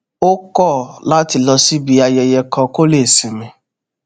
ó kò láti lọ síbi ayẹyẹ kan kó lè sinmi